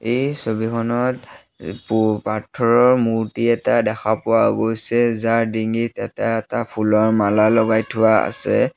এই ছবিখনত পু পাৰ্থৰৰ মূৰ্তি এটা দেখা পোৱা গৈছে যাৰ ডিঙিত এটা এটা ফুলৰ মালা লগাই থোৱা আছে।